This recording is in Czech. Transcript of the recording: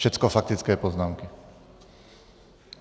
Všecko faktické poznámky.